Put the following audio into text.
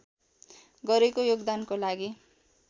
गरेको योगदानको लागि